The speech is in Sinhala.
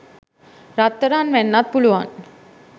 රත්තරන් වෙන්නත් පුළුවන්